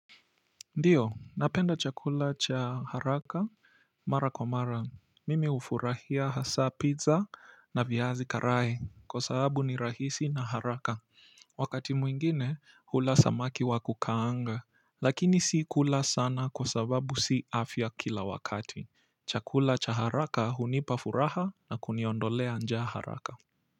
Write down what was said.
Ndio napenda chakula cha haraka mara kwa mara mimi hufurahia hasa pizza na viazi karae kwa sababu ni rahisi na haraka wakati mwingine hula samaki wa kukaanga lakini si kula sana kwa sababu si afya kila wakati chakula cha haraka hunipa furaha na kuniondolea njaa haraka.